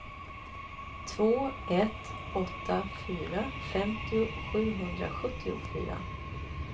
två ett åtta fyra femtio sjuhundrasjuttiofyra